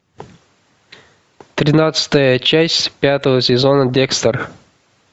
тринадцатая часть пятого сезона декстер